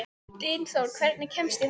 Dynþór, hvernig kemst ég þangað?